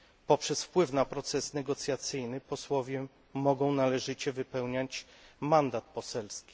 Poprzez wpływ na proces negocjacyjny posłowie mogą należycie wypełniać mandat poselski.